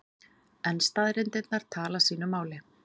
En staðreyndirnar tala sínu máli.